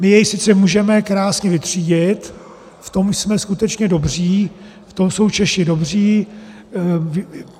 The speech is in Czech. My jej sice můžeme krásně vytřídit, v tom jsme skutečně dobří, v tom jsou Češi dobří.